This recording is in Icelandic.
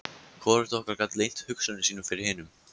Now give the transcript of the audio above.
Hvorugt okkar gat leynt hugsunum sínum fyrir hinu.